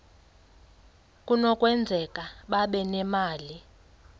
kunokwenzeka babe nemali